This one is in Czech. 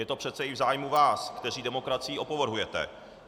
Je to přece i v zájmu vás, kteří demokracií opovrhujete.